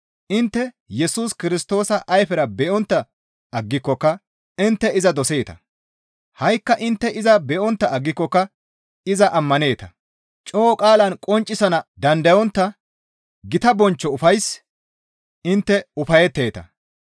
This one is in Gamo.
Intte Yesus Kirstoosa ayfera be7ontta aggikokka intte iza doseeta; ha7ikka intte iza be7ontta aggikokka iza ammaneeta; coo qaalan qonccisana dandayontta gita bonchcho ufays intte ufayetteeta.